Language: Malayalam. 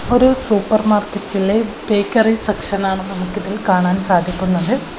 ഒരു സൂപ്പർമാർക്കറ്റിലെ ബേക്കറി സെക്ഷൻ ആണ് നമുക്ക് ഇതിൽ കാണാൻ സാധിക്കുന്നത്.